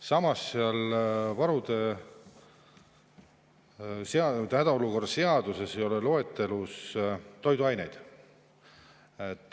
Samas ei ole hädaolukorra seaduse loetelus toiduaineid.